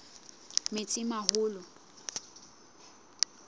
metsimaholo